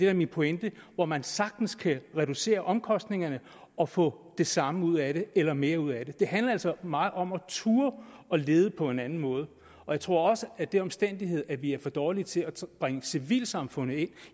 er min pointe hvor man sagtens kan reducere omkostningerne og få det samme ud af det eller mere ud af det det handler altså meget om at turde lede på en anden måde jeg tror også at den omstændighed at vi er for dårlige til at bringe civilsamfundet ind